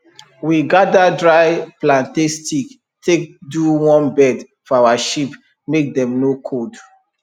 we gather dry plantain stick take do warm bed for our sheep make dem no cold